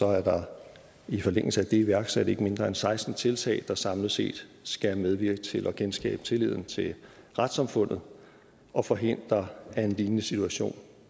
er der i forlængelse af det iværksat ikke mindre end seksten tiltag der samlet set skal medvirke til at genskabe tilliden til retssamfundet og forhindre at en lignende situation